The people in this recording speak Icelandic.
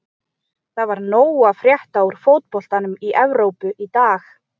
Það var nóg að frétta úr fótboltanum í Evrópu í dag.